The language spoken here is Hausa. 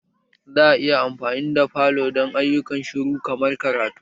Za a iya amfani da falo don ayyukan shiru kamar karatu?